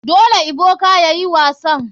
Dole ebuka yayi wasan.